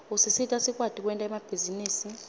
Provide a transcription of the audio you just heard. usisita sikwati kwenta emabhizinisi